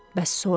Bəs sonra?